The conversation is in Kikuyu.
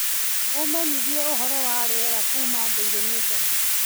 ũmenyithi uhoro wa rĩera kuuma daily nation